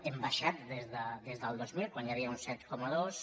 hem baixat des del dos mil quan hi havia un set coma dos